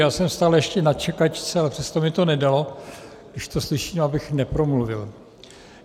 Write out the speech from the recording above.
Já jsem stále ještě na čekačce, ale přesto mi to nedalo, když to slyším, abych nepromluvil.